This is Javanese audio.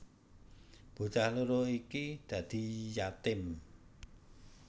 Bocah loro iki dadi yatim